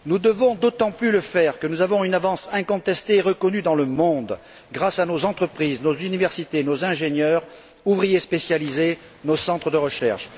Nous devons d'autant plus le faire que nous avons une avance incontestée et reconnue dans le monde grâce à nos entreprises, nos universités, nos ingénieurs, nos ouvriers spécialisés et nos centres de recherche.